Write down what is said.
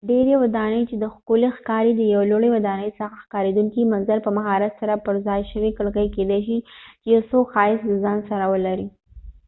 ډیری ودانۍ دي چې ښکلی ښکاری ، د یو لوړی ودانۍ څخه ښکاریدونکې منظره ،په مهارت سره پر ځای شوي کړکۍ کېدای شي چې یو ښایست د ځان سره ولري